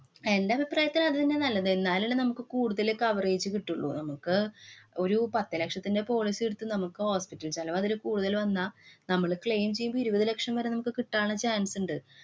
എന്‍റെ അഭിപ്രായത്തില്‍ അത് തന്നെയാ നല്ലത്. എന്നാലല്ലേ നമുക്ക് കൂടുതല് coverage കിട്ടുള്ളൂ. നമുക്ക് ഒരു പത്തു ലക്ഷത്തിന്‍റെ policy എടുത്ത് നമ്മക്ക് hospital ചെലവ് അതില് കൂടുതല് വന്നാ നമ്മള് claim ചെയ്യുമ്പോ ഇരുവത് ലക്ഷം വരെ നമുക്ക് കിട്ടാന്‍ ള്ള chance ഇണ്ട്.